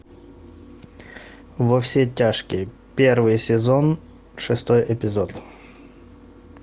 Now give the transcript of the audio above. во все тяжкие первый сезон шестой эпизод